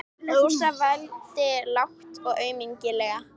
Rósa vældi lágt og aumlega.